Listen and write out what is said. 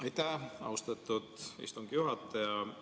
Aitäh, austatud istungi juhataja!